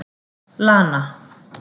Lana